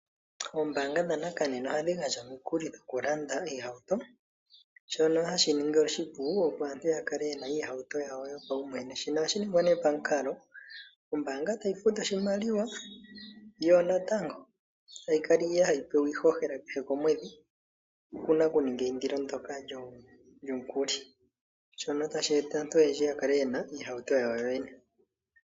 Ombaanga dhanakanena ohadhi gandja omikuli dhokulanda iihatu, shoka hashi ningi oshipu opo aantu yakale yena iihauto yawo yopaumwene. Shika ohashi ningwe ne pamukalo ombaanga tayi futu oshimaliwa yo natango tayi kala hayi pewa iihohela kehe komwedhi, okuna okuninga eyindilo ndoka lyomukuli shoka tashi eta aantu oyendji yakale yena iihauto yawo yoyene.